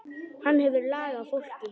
Hann hefur lag á fólki.